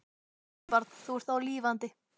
Elsku barn, þú ert þá lifandi.